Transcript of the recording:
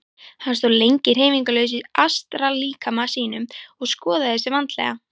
Hann stóð lengi hreyfingarlaus í astrallíkama sínum og skoðaði sig vandlega.